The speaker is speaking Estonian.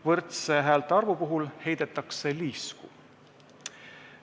Võrdse häältearvu puhul heidetakse liisku.